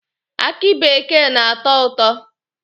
Akị bekee na-atọ ụtọ.